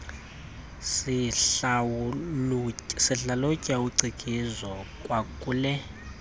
sihlalutya ucikizwa kwakule